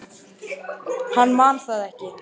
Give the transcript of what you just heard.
Hann man það ekki.